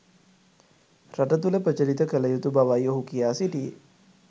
රට තුල ප්‍රචලිත කල යුතු බවයි ඔහු කියා සිටියේ.